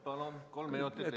Palun, kolm minutit!